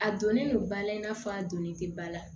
A donnen don ba la i n'a fɔ a donnin tɛ ba la